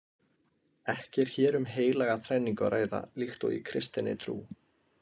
Ekki er hér um heilaga þrenningu að ræða líkt og í kristinni trú.